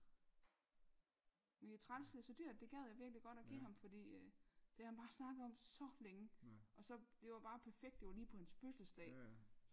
Men det træls det så dyrt det gad jeg virkelig godt og give ham fordi øh det har han bare snakket om så længde og så det var bare perfekt det var lige på hans fødselsdag